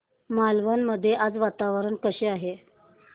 मालवण मध्ये आज वातावरण कसे आहे